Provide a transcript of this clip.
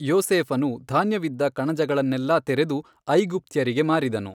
ಯೋಸೇಫನು ಧಾನ್ಯವಿದ್ದ ಕಣಜಗಳನ್ನೆಲ್ಲಾ ತೆರೆದು ಐಗುಪ್ತ್ಯರಿಗೆ ಮಾರಿದನು.